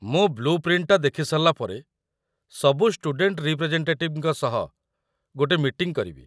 ମୁଁ ବ୍ଲୁ ପ୍ରିଣ୍ଟ୍‌‌ଟା ଦେଖିସାରିଲା ପରେ ସବୁ ଷ୍ଟୁଡେଣ୍ଟ ରିପ୍ରେଜେଣ୍ଟେଟିଭ୍‌ଙ୍କ ସହ ଗୋଟେ ମିଟିଂ କରିବି ।